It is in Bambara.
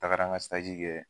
tagara n ka kɛ.